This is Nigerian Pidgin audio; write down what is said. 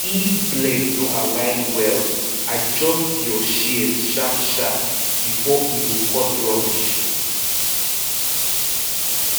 if blade no align well adjust your shears sharpsharp before e go cut rubbish